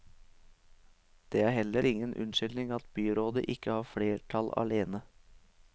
Det er heller ingen unnskyldning at byrådet ikke har flertall alene.